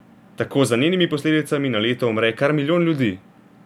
Tako za njenimi posledicami na leto umre kar milijon ljudi.